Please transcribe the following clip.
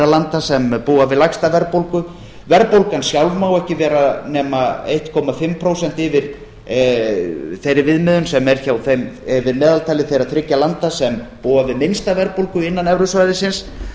landa sem búa við lægsta verðbólgu verðbólgan sjálf má ekki vera nema eins og hálft prósent yfir þeirri viðmiðun sem er yfir meðaltali þeirra þriggja landa sem búa við minnsta verðbólgu innan evrusvæðisins